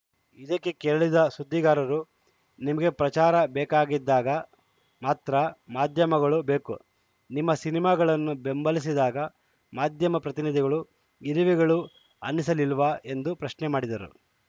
ಇದಕ್ಕೆ ಕೆರಳಿದ ಸುದ್ದಿಗಾರರು ನಿಮಗೆ ಪ್ರಚಾರ ಬೇಕಿದ್ದಾಗ ಮಾತ್ರ ಮಾಧ್ಯಮಗಳು ಬೇಕು ನಿಮ್ಮ ಸಿನಿಮಾಗಳನ್ನು ಬೆಂಬಲಿಸಿದಾಗ ಮಾಧ್ಯಮ ಪ್ರತಿನಿಧಿಗಳು ಇರುವೆಗಳು ಅನ್ನಿಸಲಿಲ್ವಾ ಎಂದು ಪ್ರಶ್ನೆ ಮಾಡಿದರು